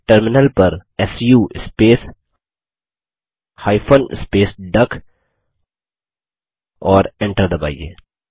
terminal पर su space hyphen space duck और Enter दबाइए